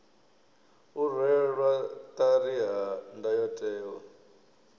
u rwelwa ṱari ha ndayotewa